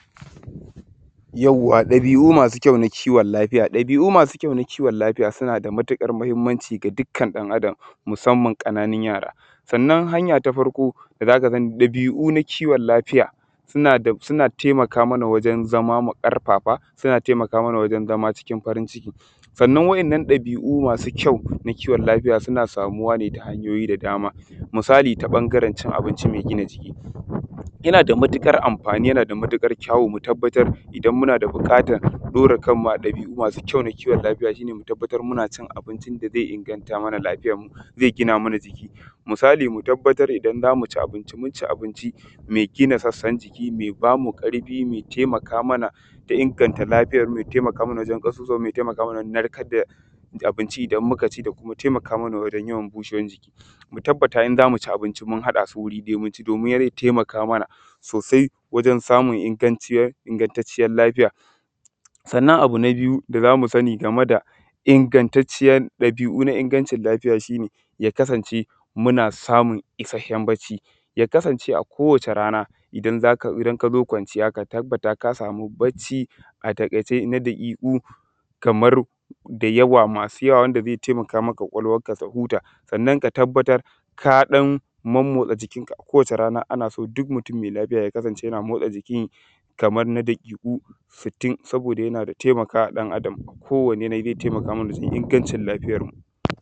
Yawwa ɗabiu masu kyau na kiwon lafiya, ɗabiu masu na kiwon lafiya sunada matuƙar muhimmanci ga dukkan ɗan adam musamman ƙananun yara sannan hanya tafarko dazaka san ɗabiu na kiwon lafiya suna taimaka mana wajen zama ƙarfafa suna taimaka mana wajen zama cikin farinciki, sannan wainnan ɗabiu masu kyau na kiwon lafiya suna samuwane ta hanyoyi da dama misali ta ɓangaren cin abinci mai gina jiki yanada matuƙar amfani yanada matuƙar kyawo mutabbatar idan munada ɓuƙatar ɗora kanmu a ɗabiu masu kyau na kiwon lafiya shine mu tabbatar muna cin abincin daze inganta mana lafiyanmu zai gina mana jiki, misali mu tabbatar idan zamu ci abinci muci abinci mai gina sassan jiki, mai bamu ƙarfi mai taimaka mana da inganta lafiyarmu mai taimaka mana wajen ƙasusuwanmu mai taimaka mana wajen narkar da abinci idan mukaci dakuma taimaka mana wajen yawan bushewar jiki mu tabbata in zamuci abinci mun haɗasu wuri ɗaya domin zai taimaka mana sosai wajen samun ingantanciyar lafiya sannan abu nabiyu da zamu sani game da ingantacciyar dabiu na ingancin lafiya shine ya kasance muna samun isasshen bacci ya kasance a kowace rana idan kazo kwanciya ka tabbata kasamu bacci a taƙaice na daƙiku kamar dayawa masu yawa wanda zai taimaka wa ƙwaƙwalwarka tahuta sannan ka tabbatar ka ɗan monmotsa jikinka a kowace rana anaso duk mutun mai lafiya ya kasance yana motsa jikinsa kamar na daƙiku sittin saboda yana da taimakawa ɗan adam a kowane yanayi zai taimaka mana wajen ingancin lafiyarmu